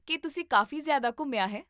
ਕੀ ਤੁਸੀਂ ਕਾਫ਼ੀ ਜ਼ਿਆਦਾ ਘੁੰਮਿਆ ਹੈ?